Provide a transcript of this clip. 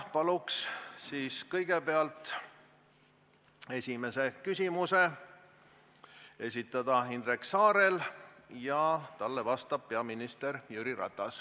Paluks siis kõigepealt esimese küsimuse esitada Indrek Saarel ja talle vastab peaminister Jüri Ratas.